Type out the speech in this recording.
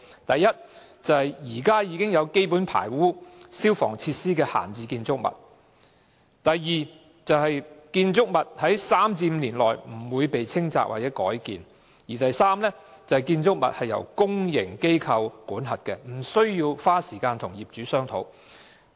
第一，現時已有基本排污及消防設施的閒置建築物；第二，不會在3年至5年內被清拆或改建的建築物；及第三，由公營機構管轄，因而無須花時間與業主商討的建築物。